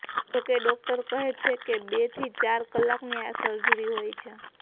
જોકે ડોક્ટર કહે છે કે બે થી ચાર કલાકની આ સર્જરી હોય છે